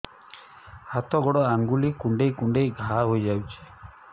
ହାତ ଗୋଡ଼ ଆଂଗୁଳି କୁଂଡେଇ କୁଂଡେଇ ଘାଆ ହୋଇଯାଉଛି